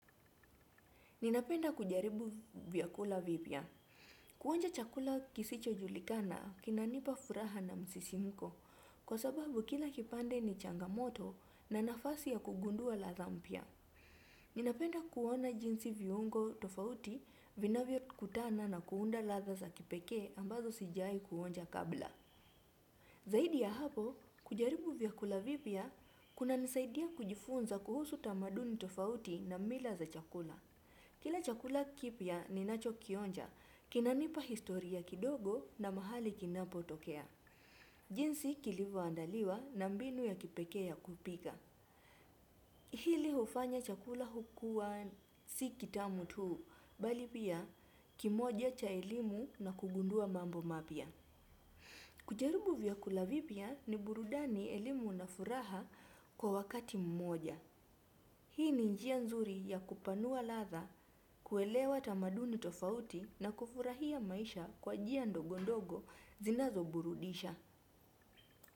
Ninapenda kujaribu vyakula vipia. Kuonja chakula kisicho julikana kinanipa furaha na msisimiko kwa sababu kila kipande ni changamoto na nafasi ya kugundua latha mpia. Ninapenda kuona jinsi viungo tofauti vina vio kutana na kuunda latha za kipeke ambazo sijai kuonja kabla. Zaidi ya hapo, kujaribu vyakula vipia kuna nisaidia kujifunza kuhusu tamaduni tofauti na mila za chakula. Kila chakula kipia ni nacho kionja, kinanipa historia kidogo na mahali kinapo tokea. Jinsi kilivo andaliwa na mbinu ya kipeke ya kupika. Hili ufanya chakula hukua si kitamu tuu, bali pia kimoja cha elimu na kugundua mambo mapia. Kujarubu vyakula vipia ni burudani elimu na furaha kwa wakati mmoja. Hii ni njia nzuri ya kupanua latha, kuelewa tamaduni tofauti na kufurahia maisha kwa jia ndogondogo zinazo burudisha.